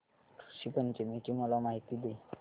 ऋषी पंचमी ची मला माहिती दे